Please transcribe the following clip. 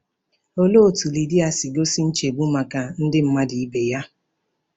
Olee otú Lidia si gosi nchegbu maka ndị mmadụ ibe ya?